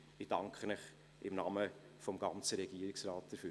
Ich danke Ihnen im Namen des ganzen Regierungsrates dafür.